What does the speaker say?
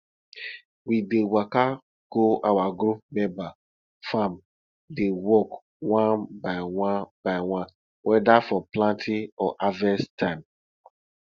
we dey waka go our group member farm dey work one by one by one whether for planting or harvest time